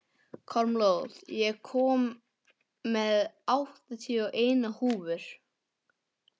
Kormlöð, ég kom með áttatíu og eina húfur!